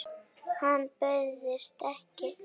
Hann bauðst ekki.